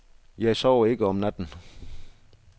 Jeg sover ikke om natten.